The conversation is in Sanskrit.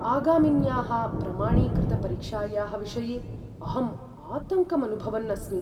आगामिन्याः प्रमाणीकृतपरीक्षायाः विषये अहम् आतङ्कमनुभवन् अस्मि ।